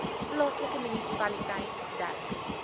plaaslike munisipaliteit dek